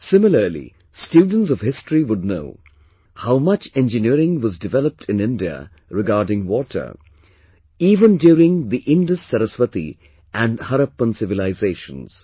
Similarly, students of history would know, how much engineering was developed in India regarding water even during the IndusSaraswati and Harappan civilizations